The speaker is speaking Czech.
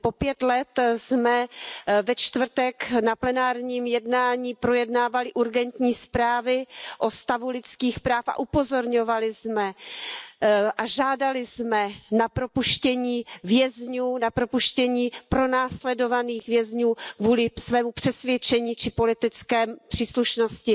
Po pět let jsme ve čtvrtek na plenárním jednání projednávali urgentní zprávy o stavu lidských práv a upozorňovali jsme a žádali jsme o propuštění vězňů, pronásledovaných vězňů kvůli svému přesvědčení či politické příslušnosti.